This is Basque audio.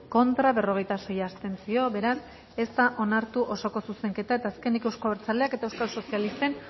contra berrogeita sei abstentzio beraz ez da onartu osoko zuzenketa eta azkenik euzko abertzaleak eta euskal sozialisten